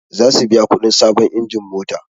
Zasu biya kuɗin sabon injin mota